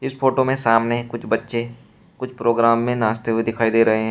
इस फोटो में सामने कुछ बच्चे कुछ प्रोग्राम में नाचते हुए दिखाई दे रहे हैं।